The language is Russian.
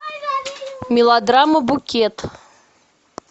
мелодрама букет